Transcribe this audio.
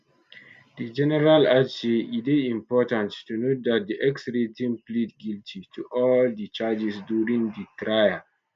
di general add say e dey important to note dat di exrating plead guilty to all di charges during di trial